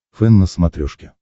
фэн на смотрешке